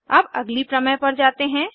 अब अगली प्रमेय पर जाते हैं